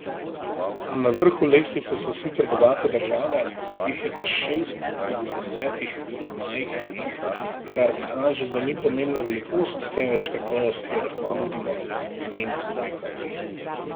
Na vrhu lestvice so sicer bogate države, jih je pa šest od desetih majhnih, kar kaže, da ni pomembna velikost, temveč kakovost, ki jo lahko nudimo, meni Smrekar.